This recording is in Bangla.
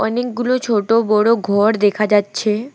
অনেকগুলো ছোট বড় ঘর দেখা যাচ্ছে।